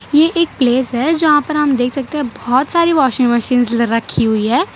ये एक प्लेस है जहां पर हम देख सकते हैं बोहोत सारी वॉशिंग मशीन्स रखी हुई है।